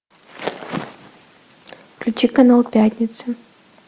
включи канал пятница